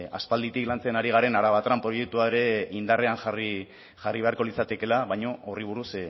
aspalditik lantzen ari garen araban proiektua ere indarrean jarri beharko litzatekeela baina horri buruz